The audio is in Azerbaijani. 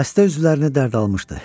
Dəstə üzvlərini dərd almışdı.